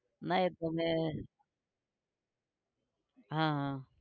ના એ તો મેં હા હા